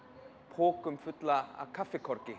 pokum fullum af